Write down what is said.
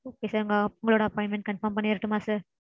Okay sir. உங்க appointment confirm பண்ணிரட்டுமா sir?